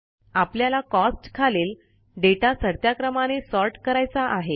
आपल्याला कॉस्ट खालील डेटा चढत्या क्रमाने सॉर्ट करायचा आहे